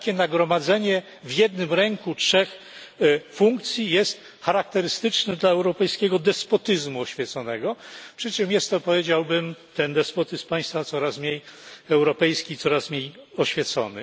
Takie nagromadzenie w jednym ręku trzech funkcji jest charakterystyczne dla europejskiego despotyzmu oświeconego, przy czym jest on powiedziałbym ten despotyzm Państwa coraz mniej europejski, coraz mniej oświecony.